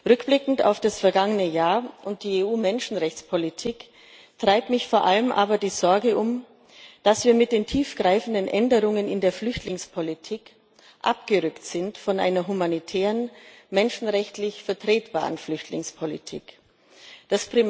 Rückblickend auf das vergangene Jahr und die EU Menschenrechtspolitik treibt mich vor allem aber die Sorge um, dass wir mit den tiefgreifenden Änderungen in der Flüchtlingspolitik von einer humanitären, menschenrechtlich vertretbaren Flüchtlingspolitik abgerückt sind.